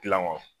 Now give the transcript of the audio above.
Gilan wa